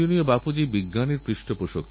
সোনারুপো এবং ব্রোঞ্জের বর্ষণ হোক